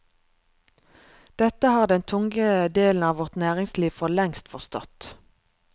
Dette har den tunge delen av vårt næringsliv for lengst forstått.